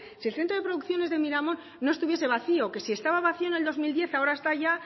si el centro de producciones de miramon no estuviese vacío que si estaba vacío en el dos mil diez ahora está ya